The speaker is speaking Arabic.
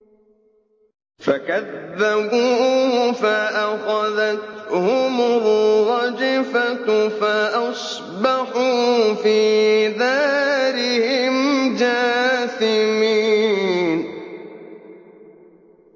فَكَذَّبُوهُ فَأَخَذَتْهُمُ الرَّجْفَةُ فَأَصْبَحُوا فِي دَارِهِمْ جَاثِمِينَ